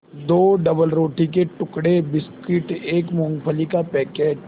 दो डबलरोटी के टुकड़े बिस्कुट एक मूँगफली का पैकेट